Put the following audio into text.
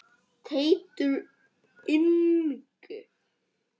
Teitur Ingi.